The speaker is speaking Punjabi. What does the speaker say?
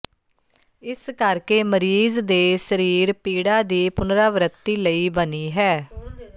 ਇਸ ਕਰਕੇ ਮਰੀਜ਼ ਦੇ ਸਰੀਰ ਪੀੜਾ ਦੀ ਪੁਨਰਾਵ੍ਰੱਤੀ ਲਈ ਬਣੀ ਹੈ